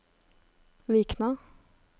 Vikna